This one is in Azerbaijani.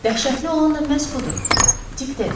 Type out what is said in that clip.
Dəhşətli olan da məhz budur, Dik dedi.